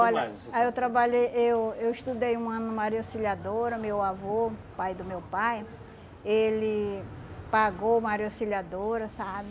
Olha, aí eu trabalhei, eu eu estudei um ano no Maria Auxiliadora, meu avô, pai do meu pai, ele pagou Maria Auxiliadora, sabe?